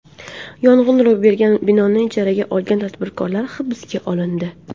Yong‘in ro‘y bergan binoni ijaraga olgan tadbirkor hibsga olindi.